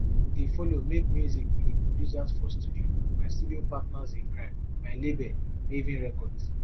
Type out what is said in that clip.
dey follow make music wit di producers for studio my studio partners in crime my label mavin records